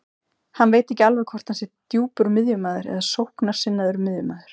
Hann veit ekki alveg hvort hann sé djúpur miðjumaður eða sóknarsinnaður miðjumaður.